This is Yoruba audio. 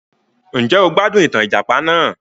Njẹ́ o gbádùn ìtàn ìjàpà náà?